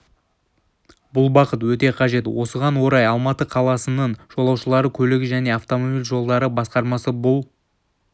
бұл бағыт өте қажет осыған орай алматы қаласының жолаушылар көлігі және автомобиль жолдары басқармасы бұл